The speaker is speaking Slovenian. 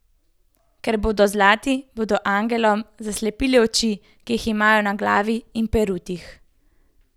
Ker bodo zlati, bodo angelom zaslepili oči, ki jih imajo na glavi in perutih.